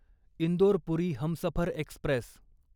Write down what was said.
Indore Puri Humsafar Express